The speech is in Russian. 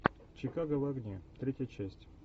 чикаго в огне третья часть